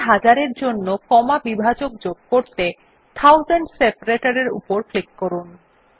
প্রতি হাজার এর জন্য কমা বিভাজক যোগ করতে থাউজেন্ডস সেপারেটর এর উপর করুন ক্লিক করুন